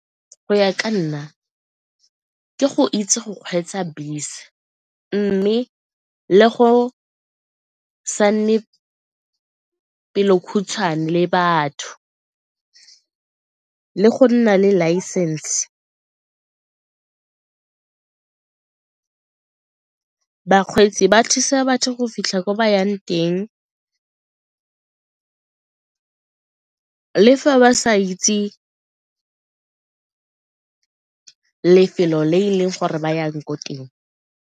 Go ya ka nna, ke go itse go kgweetsa bese mme le go sa nne pelo khutshwane le batho, le go nna le license, bakgweetsi ba thusa batho go fitlha ko ba yang teng le fa ba sa itse lefelo le e leng gore ba yang ko teng.